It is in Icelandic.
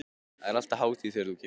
Það er alltaf hátíð þegar þú kemur.